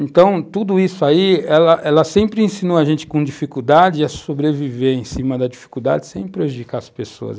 Então, tudo isso aí, ela ela sempre ensinou a gente com dificuldade a sobreviver em cima da dificuldade sem prejudicar as pessoas.